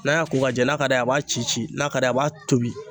N'a y'a ko k'a jɛ n'a ka d'a ye a b'a ci ci, n'a ka d'a ye a b'a tobi.